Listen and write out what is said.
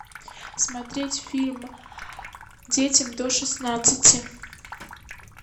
смотреть фильм детям до шестнадцати